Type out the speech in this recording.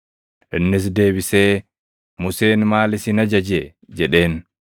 Innis deebisee, “Museen maal isin ajaje?” jedheen.